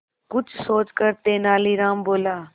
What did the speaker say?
कुछ सोचकर तेनालीराम बोला